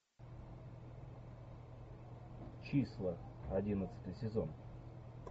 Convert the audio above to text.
числа одиннадцатый сезон